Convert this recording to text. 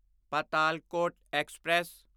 Patalkot express